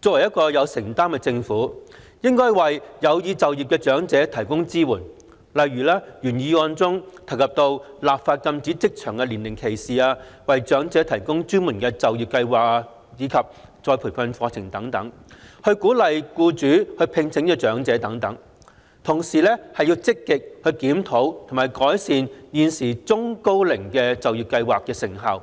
作為一個有承擔的政府，應該為有意就業的長者提供支援，例如原議案中提及的立法禁止職場年齡歧視、為長者提供專門的就業計劃及再培訓課程、鼓勵僱主聘請長者等，同時積極檢討及改善現時中高齡就業計劃的成效，